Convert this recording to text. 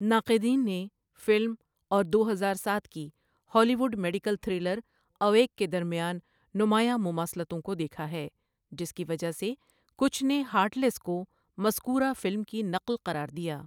ناقدین نے فلم اور دو ہزار ساتھ کی Hollywood medical thriller Awake کے درمیان نمایاں مماثلتوں کو دیکھا ہے، جس کی وجہ سے کچھ نے ہارٹ لیس کو مذکورہ فلم کی نقل قرار دیا.